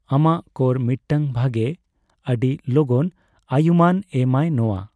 ᱟᱢᱟᱜ ᱠᱚᱨ ᱢᱤᱫᱴᱟᱝ ᱵᱷᱟᱜᱮ, ᱟᱰᱤ ᱞᱚᱜᱚᱱ ᱟᱭᱩᱢᱟᱹᱱ ᱮᱢ ᱟᱭ ᱱᱚᱣᱟ ᱾